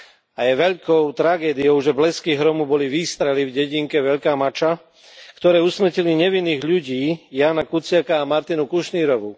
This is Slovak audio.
A je veľkou tragédiou, že blesky hromu boli výstrely v dedinke Veľká Mača, ktoré usmrtili nevinných ľudí, Jána Kuciaka a Martinu Kušnírovú.